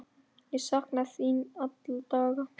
Ég sakna þín alla daga.